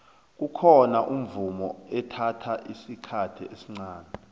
kukhona umvumo ethatha isikhathi esncani